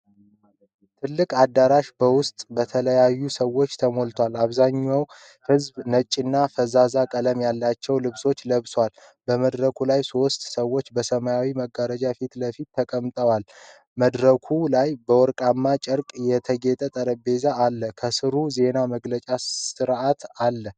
ትልቅ አዳራሽ በውስጡ በተለያዩ ሰዎች ተሞልቷል። አብዛኛው ህዝብ ነጭና ፈዛዛ ቀለም ያላቸው ልብሶችን ለብሷል። በመድረኩ ላይ ሶስት ሰዎች በሰማያዊ መጋረጃ ፊት ለፊት ተቀምጠዋል። መድረኩ ላይ በወርቃማ ጨርቅ የተጌጠ ጠረጴዛ አለ። ከስሩ የዜና መግለጫ አርዕስት አለ።